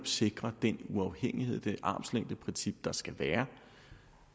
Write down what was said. sikrer den uafhængighed og det armslængdeprincip der skal være